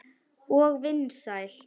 Og vinsæl.